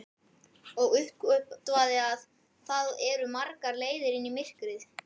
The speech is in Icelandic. Og uppgötvaði að það eru margar leiðir inn í myrkrið.